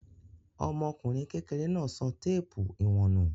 Ọmọkùnrin kekere náà sọ téépù ìwọ̀n nù.